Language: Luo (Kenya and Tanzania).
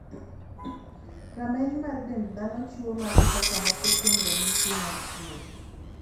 Rameny mar dend dhano chiwo magi kaka moko kuom ranyisi mar tuo ni.